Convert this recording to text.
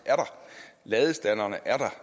ladestanderne er der